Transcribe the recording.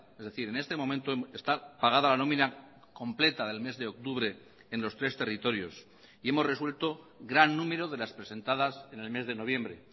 es decir en este momento está pagada la nómina completa del mes de octubre en los tres territorios y hemos resuelto gran número de las presentadas en el mes de noviembre